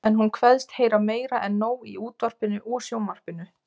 En hún kveðst heyra meira en nóg í útvarpinu og sjónvarpinu.